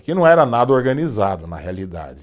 Aqui não era nada organizado, na realidade.